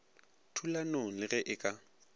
thulanong le ge e ka